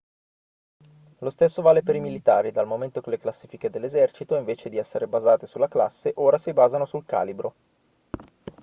lo stesso vale per i militari dal momento che le classifiche dell'esercito invece di essere basate sulla classe ora si basano sul calibro